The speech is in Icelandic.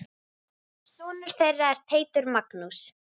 Sonur þeirra er Teitur Magnús.